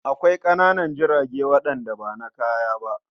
Akwai ƙananan jirage waɗanda ba na kaya ba.